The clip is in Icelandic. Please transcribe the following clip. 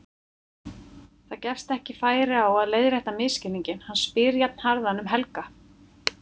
Það gefst ekki færi á að leiðrétta misskilninginn, hann spyr jafnharðan um Helga.